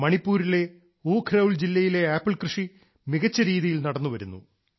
ഇന്ന് മണിപ്പൂരിലെ ഉഖ്രൌൽ ജില്ലയിലെ ആപ്പിൾ കൃഷി മികച്ച രീതിയിൽ നടന്നുവരുന്നു